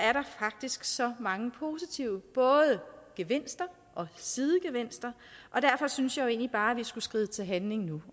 så mange positive gevinster og sidegevinster og derfor synes jeg egentlig bare at vi skulle skride til handling nu